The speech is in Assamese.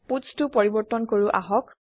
putsটো পৰিবৰ্ত্তন কৰো আহক